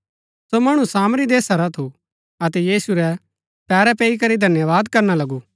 सो मणु सामरी देशा रा थू अतै यीशु रै पैरै पैई करी धन्यवाद करना लगा